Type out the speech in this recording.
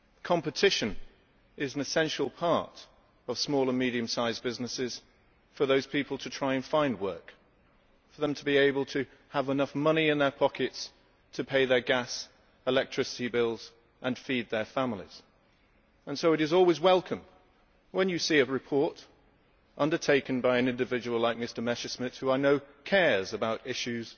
Competition is an essential part of small and medium sized businesses for those people to try and find work, for them to be able to have enough money in their pockets to pay their gas and electricity bills and feed their families, and so it is always welcome when you see a report undertaken by an individual like Mr Messerschmidt who, I know, cares about issues